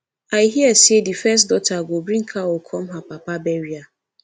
i hear say the first daughter go bring cow come her papa burial